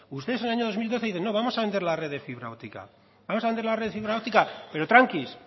ustedes en el año dos mil doce dicen que vamos a vender la red de fibra óptica vamos a vender la red de fibra óptica pero tranquilos